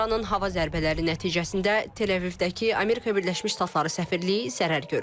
İranın hava zərbələri nəticəsində Teləvivdəki Amerika Birləşmiş Ştatları səfirliyi zərər görüb.